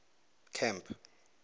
camp